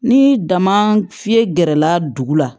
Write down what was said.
Ni dama fiyɛ gɛrɛla dugu la